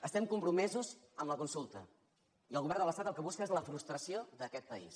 estem compromesos amb la consulta i el govern de l’estat el que busca és la frustració d’aquest país